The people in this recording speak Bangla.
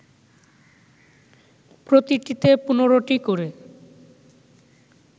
প্রতিটিতে ১৫টি করে